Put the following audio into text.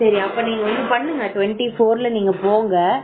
சரி அப்ப நீ ஒன்னு பண்ணுங்க twenty four நீங்க போங்க